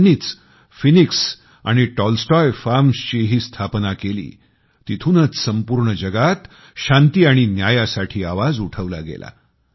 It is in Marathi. त्यांनीच फिनिक्स आणि टॉलस्टॉय फार्म्सचीही स्थापना केली तिथूनच संपूर्ण जगात शांती आणि न्यायासाठी आवाज उठवला गेला